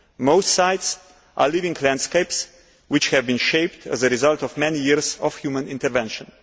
Most sites are living landscapes which have been shaped as a result of many years of human intervention.